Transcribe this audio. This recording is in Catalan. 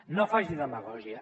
no faci demagògia